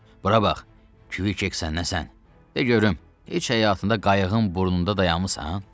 Bura bax, Kvik, sən nəsən, de görüm, heç həyatında qayığın burnunda dayanmısan?